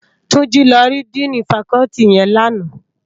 Tunji lò ri dìnî fákòlìtí yèn làná